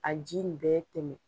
A ji nin bɛ tɛmɛ